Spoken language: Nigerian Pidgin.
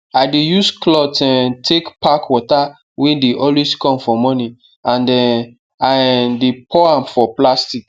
i dey use cloth um take pack water wey dey always come for morning and um i um dey pour am for plastic